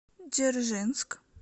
дзержинск